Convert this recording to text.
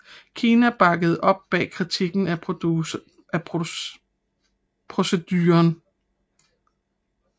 Kina bakkede op bag kritikken af proceduren